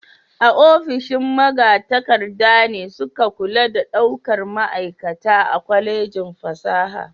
Ofishin magatakarda ne suke kula da daukar ma'aikata a Kwallejin fasaha.